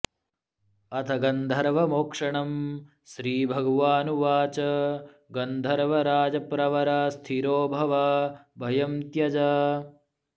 अथ गन्धर्वमोक्षणम् श्रीभगवान् उवाच गन्धर्वराजप्रवर स्थिरो भव भयं त्यज